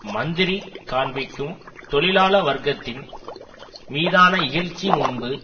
மந்திரி காண்பிக்கும் தொழிலாள வர்க்கத்தின் மீதான இகழ்ச்சி முன்பு